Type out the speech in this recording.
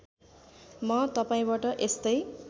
म तपाईँबाट यस्तै